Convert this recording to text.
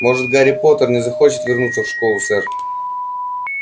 может гарри поттер и не захочет вернуться в школу сэр